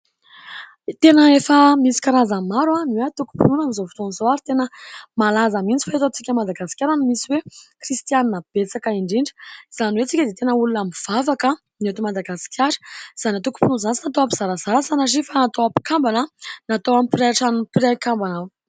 Tena efa misy karazany maro ny hoe : "antokom-pinoana" amin'izao fotoana izao ary tena malaza mihitsy fa eto amintsika Madagasikara no misy hoe"kristianina" betsaka indrindra. Izany hoe : isika dia tena olona mivavaka ny eto Madagasikara. Izany antokom-pinoana izany, tsy natao hampizarazara sanatria fa natao hampikambana, natao hampiray trano ny mpiray kambana aminy.